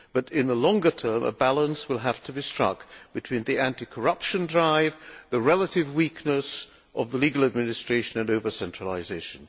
But in the longer term a balance will have to be struck between the anti corruption drive, the relative weakness of the legal administration and over centralisation.